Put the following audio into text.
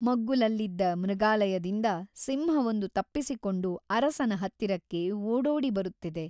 ಮಗ್ಗುಲಲ್ಲಿದ್ದ ಮೃಗಾಲಯದಿಂದ ಸಿಂಹವೊಂದು ತಪ್ಪಿಸಿಕೊಂಡು ಅರಸನ ಹತ್ತಿರಕ್ಕೆ ಓಡೋಡಿ ಬರುತ್ತಿದೆ.